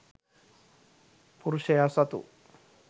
පුරුෂයා සතු